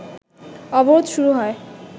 অবরোধ শুরু হয়